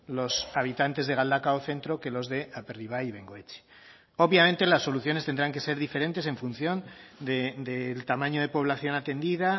los habitantes de galdakao centro que los de aperribai y bengoetxe obviamente las soluciones tendrán que ser diferentes en función del tamaño de población atendida